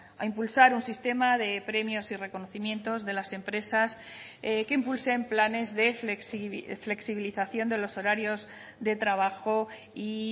a impulsar un sistema de premios y reconocimientos de las empresas que impulsen planes de flexibilización de los horarios de trabajo y